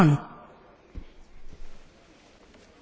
Frau Kollegin, das kann ich Ihnen erklären.